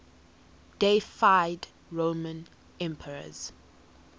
deified roman emperors